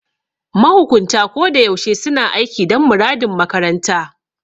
Mahukunta ko da yaushe suna aiki dan muradin makaranta.